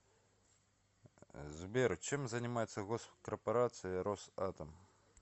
сбер чем занимается госкорпорация росатом